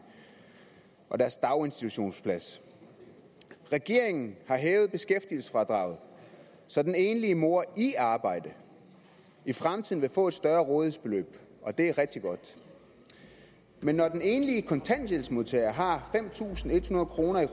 og deres daginstitutionsplads regeringen har hævet beskæftigelsesfradraget så den enlige mor i arbejde i fremtiden vil få et større rådighedsbeløb og det er rigtig godt men når den enlige kontanthjælpsmodtager har fem tusind en hundrede kroner i